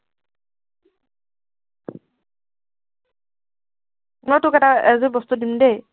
হলেও তোক এটা এযোৰ বস্তু দিম দেই।